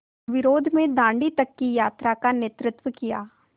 विरोध में दाँडी तक की यात्रा का नेतृत्व किया